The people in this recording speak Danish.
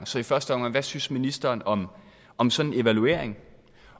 så i første omgang hvad synes ministeren om om sådan en evaluering